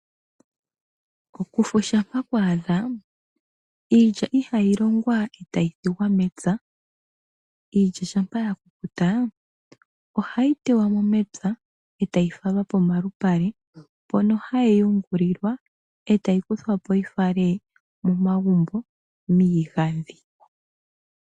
Okufu shampa kwa adha iilya ihayi longqa etayi thigwa mepya. Iikya shampa ya kukuta ohayi teywamo mwpya etayi falwa pomalupale mpono hayi yungulilwa etayi kuthwapo yifalwe miigandhi.